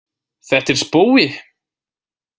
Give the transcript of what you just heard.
Þetta er spói!